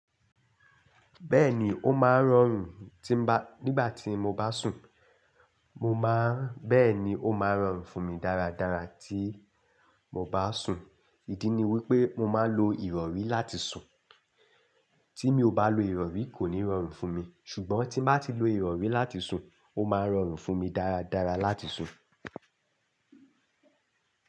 Bẹ́ẹ̀ni, ó máa ń rọrùn tí bá, nígbà tí mo bá sùn. Mo máa ń, bẹ́ẹ̀ni ó máa ń rọrùn fún mi dáradára tí mo bá sùn. Ídí ni wípé mo máa ń lo ìrọrí láti sùn. Tí mi ò bá lo ìrọrí kò ní rọrùn fún mi. Ṣùgbọ́n tí n bá ti lo ìrọrí láti sùn, ó máa ń rọrùn fún mi dáradára láti sùn.